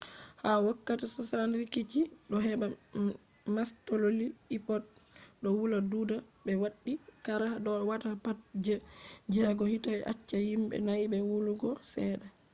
ha wokkati 60 rikici do heba mastaloli ipods do wula duda be waddi qara do wata pat je jego hite be acca himbe nai be wulugo sedda